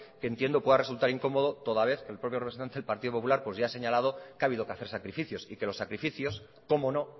que entiendo pueda resultar incomodo toda vez que el propio representante del partido popular ya ha señalado que ha habido que hacer sacrificios y que los sacrificios cómo no